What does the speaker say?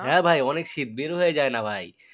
হ্যাঁ ভাই অনেক শীত বের হওয়া যায় না ভাই